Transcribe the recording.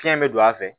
Fiɲɛ bɛ don a fɛ